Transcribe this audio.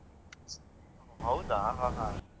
ಹೌದಾ ಹ ಹ.